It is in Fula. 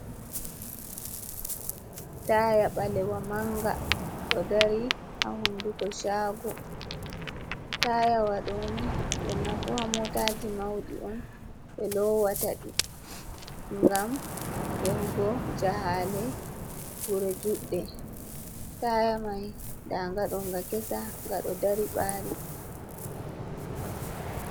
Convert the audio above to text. Taaya ɓaleewa manga ɗo dari haa hunduko shago, taaya waɗo ni ɓurna fuu haa motaji mauɗi on ɓe loowata ɗi, ngam yahugo jahaale wuro juɗɗe taaya mai ndaga nga ɗo nga kesa nga ɗo dari baari.